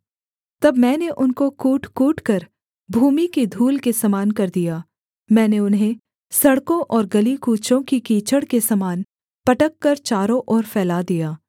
तब मैंने उनको कूट कूटकर भूमि की धूल के समान कर दिया मैंने उन्हें सड़कों और गली कूचों की कीचड़ के समान पटककर चारों ओर फैला दिया